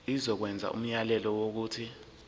izokwenza umyalelo wokuthi